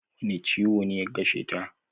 Wani ciwo ne ya kasheta?